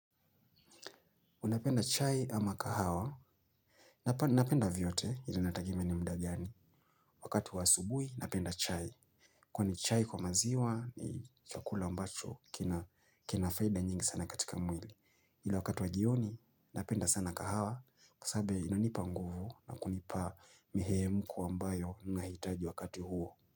Unapenda chai ama kahawa, napenda vyote ili inategemea ni mda gani, wakati wa asubui napenda chai. Kwani chai kwa maziwa ni chakula ambacho kina faida nyingi sana katika mwili, ili wakati wa jioni napenda sana kahawa kwasababu inanipa nguvu na kunipa mihemko ambayo nahitaji wakati huo.